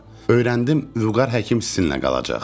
Öyrəndim, Vüqar həkim sizinlə qalacaq.